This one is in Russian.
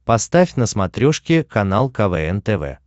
поставь на смотрешке канал квн тв